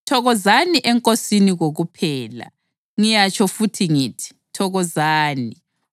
Thokozani eNkosini kokuphela. Ngiyatsho futhi ngithi: Thokozani!